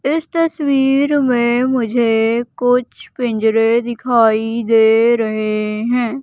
इस तस्वीर में मुझे कुछ पिंजरे दिखाई दे रहे हैं।